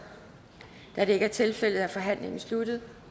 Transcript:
da det ikke er tilfældet er forhandlingen sluttet